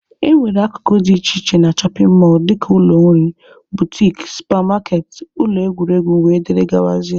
E nwere akụkụ dị iche iche na shọpin mọlụ dịka ụlọ nri, butiki, supa maketị, ụlọ egwuregwu wdg.